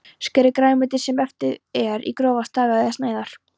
Skerið grænmetið, sem eftir er, í grófa stafi eða sneiðar.